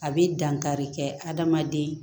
A bɛ dankari kɛ adamaden